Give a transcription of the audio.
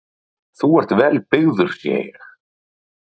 Símon: Þú ert vel byrgður sé ég?